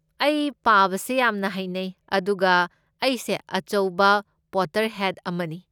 ꯑꯩ ꯄꯥꯕꯁꯦ ꯌꯥꯝꯅ ꯍꯩꯅꯩ ꯑꯗꯨꯒ ꯑꯩꯁꯦ ꯑꯆꯧꯕ ꯄꯣꯇꯔꯍꯦꯗ ꯑꯃꯅꯤ꯫